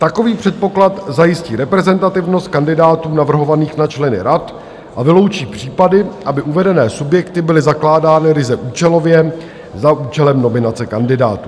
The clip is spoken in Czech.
Takový předpoklad zajistí reprezentativnost kandidátů navrhovaných na členy rad a vyloučí případy, aby uvedené subjekty byly zakládány ryze účelově za účelem nominace kandidátů.